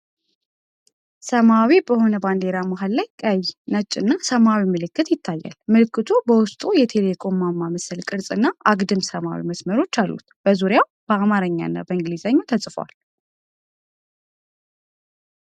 ሰማያዊ በሆነ ባንዲራ መሃል ላይ ቀይ፣ ነጭና ሰማያዊ ምልክት ይታያል። ምልክቱ በውስጡ የቴሌኮም ማማ መሰል ቅርጽ እና አግድም ሰማያዊ መስመሮች አሉት። በዙሪያው በአማርኛ "የ.ኢ.ቴ.ሌ" እና በእንግሊዝኛ ተጽፏል።